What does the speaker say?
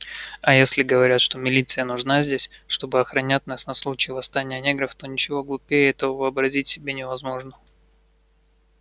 а если говорят что милиция нужна здесь чтобы охранять нас на случай восстания негров то ничего глупее этого вообразить себе невозможно